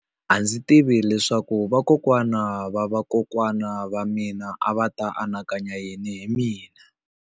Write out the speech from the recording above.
A ndzi tivi leswaku vakokwana-va-vakokwana va mina a va ta anakanya yini hi mina.